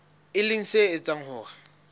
e leng se etsang hore